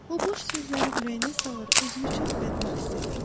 O boş sözləri ürəyinə salır, özünü çox bədbəxt hiss edirdi.